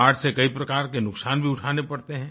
बाढ़ से कई प्रकार के नुकसान भी उठाने पड़ते हैं